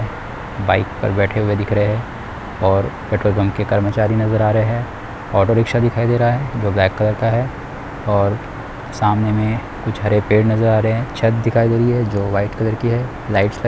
Bike पर बैठे हुए दिख रहे है और पेट्रोल पंप के कर्मचारी नज़र आ रहे है ऑटो रिक्शा दिखाई दे रहा है जो ब्लैक कलर का है और सामने मे कुछ हरे पेड़ नज़र आ रहे है छत दिखाई दे रही है जो वाइट कलर की है लाइट्स लगे हुए है।